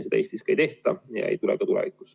Seda Eestis ei tehta ja seda ei tule ka tulevikus.